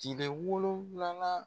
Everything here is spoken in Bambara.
Cile wolonwulanan